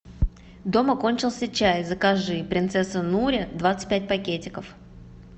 дома кончился чай закажи принцесса нури двадцать пять пакетиков